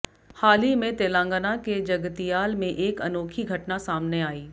हाल ही में तेलंगाना के जगतियाल में एक अनोखी घटना सामने आई